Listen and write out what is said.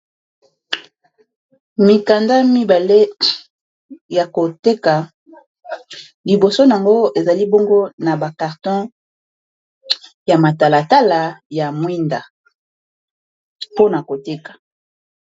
Mikanda mibale ya koteka, liboso nango ezali bongo na ba carton ya matalatala ya mwinda mpona koteka.